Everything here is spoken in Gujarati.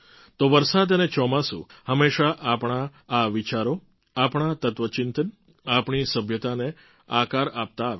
તો વરસાદ અને ચોમાસું હંમેશાં આપણા વિચારો આપણા તત્ત્વચિંતન અને આપણી સભ્યતાને આકાર આપતા આવ્યા છે